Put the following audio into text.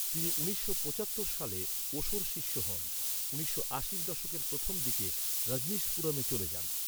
তিনি উনিশশো পঁচাত্তর সালে ওশোর শিষ্য হন। উনিশশো আশির দশকের প্রথম দিকে রজনীশপুরমে চলে যান।